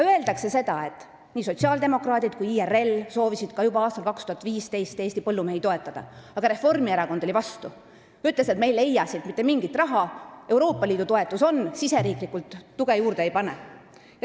On öeldud, et nii sotsiaaldemokraadid kui ka IRL soovisid juba aastal 2015 Eesti põllumehi toetada, aga Reformierakond oli vastu, ta ütles, et mingit raha nad selleks ei leia, Euroopa Liidu toetus on ja riigisisest tuge nad juurde ei pane.